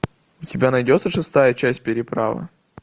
у тебя найдется шестая часть переправа